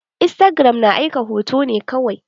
Istagiram na aika hoto ne kawai.